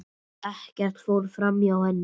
Ekkert fór framhjá henni.